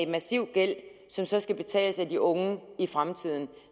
massiv gæld som så skal betales af de unge i fremtiden